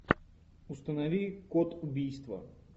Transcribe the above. установи код убийства